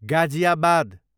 Ghaziabad